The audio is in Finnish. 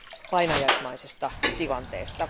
painajaismaisesta tilanteesta.